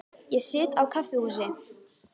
Ég sit á kaffihúsi.